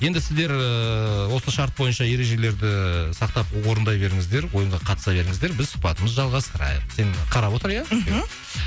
енді сіздер ыыы осы шарт бойынша ережелерді сақтап орындай беріңіздер ойынға қатыса беріңіздер біз сұхбатымызды жалғастырайық сен қарап отыр иә мхм